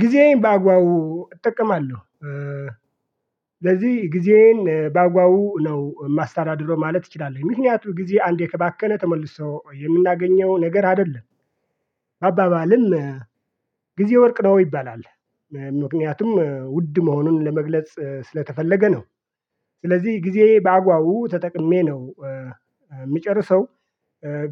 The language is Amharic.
ጊዜዬን ባጓው እጠቀማለሁ። ስለዚህ ጊዜዬን ባጓው ነው ማስተዳደሩ ማለት ይችላል ምክንያቱም ጊዜ አንዴ ከባከነ ተመልሶ የምናገኘው ነገር አይደለም። አባባልም ጊዜ ወርቅ ነው ይባላል። ምክንያቱም ውድ መሆኑን ለመግለጽ ስለተፈለገ ነው። ስለዚህ ጊዜ በአግባቡው ተጠቅሜ ነው የምጨርሰው።